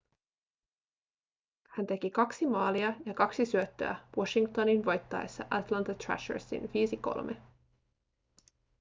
hän teki 2 maalia ja 2 syöttöä washingtonin voittaessa atlanta thrashersin 5-3